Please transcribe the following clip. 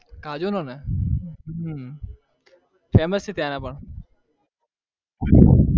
કાજુ નોને? હમ famous છે ત્યાંના પણ.